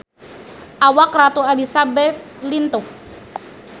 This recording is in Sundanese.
Awak Ratu Elizabeth lintuh